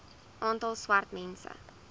aantal swart mense